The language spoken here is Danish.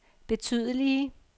betydelige